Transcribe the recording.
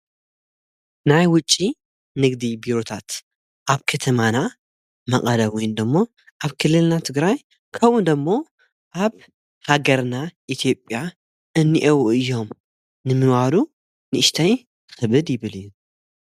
ናይ ውጪ ንግዲ ቢሩታት ኣብ ከተማና መቐለ ወይ ደሞ ኣብ ክልልና ትግራይ ከሙኦዶሞ ኣብ ሃገርና ኢትዮጵያ እኒአውኡ እዮም ንምዋሉ ንእሽተይ ኽብድ ይብል እዩ።